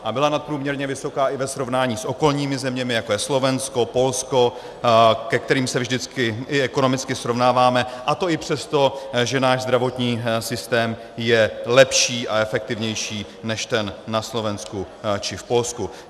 A byla nadprůměrně vysoká i ve srovnání s okolními zeměmi, jako je Slovensko, Polsko, se kterými se vždycky i ekonomicky srovnáváme, a to i přesto, že náš zdravotní systém je lepší a efektivnější než ten na Slovensku či v Polsku.